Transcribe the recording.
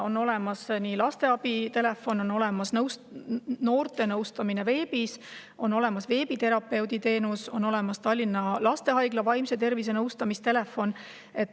On olemas lasteabi telefon, on olemas noorte nõustamine veebis, on olemas veebiterapeudi teenus, on olemas Tallinna Lastehaigla vaimse tervise nõustamise telefon.